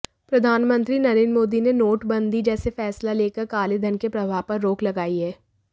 प्रधानमंत्री नरेंद्र मोदी ने नोटबंदी जैसा फैसला लेकर कालेधन के प्रवाह पर रोक लगाई है